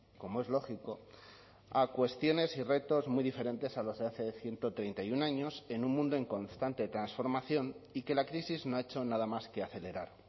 como es lógico a cuestiones y retos muy diferentes a los de hace ciento treinta y uno años en un mundo en constante transformación y que la crisis no ha hecho nada más que acelerar